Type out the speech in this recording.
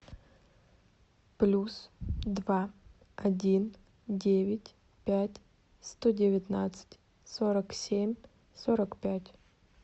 плюс два один девять пять сто девятнадцать сорок семь сорок пять